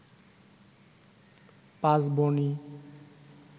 পাঁচ বোনই